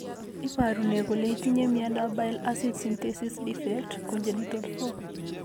Iporu ne kole itinye miondap Bile acid synthesis defect, congenital, 4?